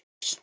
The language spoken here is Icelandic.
Jarl